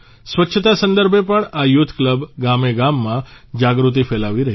સ્વચ્છતા સંદર્ભે પણ આ યુથ કલબ ગામેગામમાં જાગૃતિ ફેલાવી રહી છે